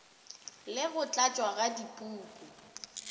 le go tlatšwa ga dipuku